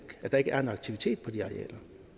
er en aktivitet på de arealer